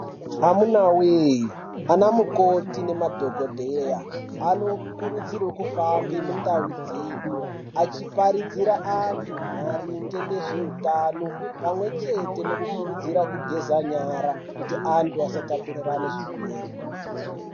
Amunawee, anamukoti nemadhogodheya anokurudzirwe kufambe mundau dzedu achiparidzira antu maringe nezvehutano pamwe chete nekukurudzira kugeza nyara kuti antu asatapurirane zvirwere.